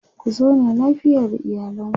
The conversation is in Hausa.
ku zauna lafiya da iyalanku